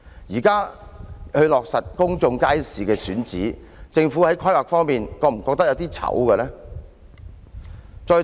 現在才落實公眾街市的選址，政府在規劃方面會否感到有點兒羞愧呢？